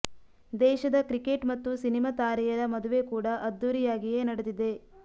ದೇಶದ ಕ್ರಿಕೆಟ್ ಮತ್ತು ಸಿನಿಮಾ ತಾರೆಯರ ಮದುವೆ ಕೂಡ ಅದ್ದೂರಿಯಾಗಿಯೇ ನಡೆದಿದೆ